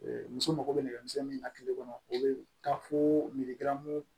muso mago bɛ nɛgɛmisɛnnin min na kile kɔnɔ o be taa fo miliyɔn